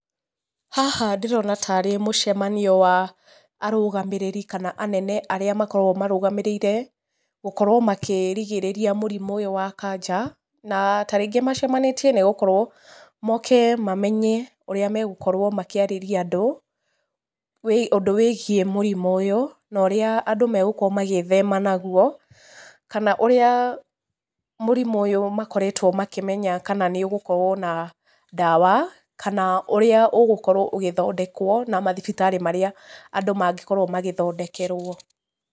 Haha ndĩrona tarĩ mũcemanio wa arũgamĩrĩri kana anene arĩa makoragwo marũgamĩrĩire, gũkorwo makĩrigĩrĩria mũrimũ ũyũ wa kanja, na ta rĩngĩ macemanĩtie nĩ gũkorwo moke mamenya ũrĩa megũkorwo makĩarĩria andũ, ũndũ wĩgiĩ mũrimũ ũyũ, na ũrĩa andũ magũkorwo magĩthema naguo. Kana ũrĩa mũrimũ ũyũ makoretwo makĩmenya kana nĩ ũgũkorwo na ndawa, kana ũrĩa ũgũkorwo ũgĩthondekwo na mathibitarĩa marĩa andũ mangĩkorwo magĩthondekerwo.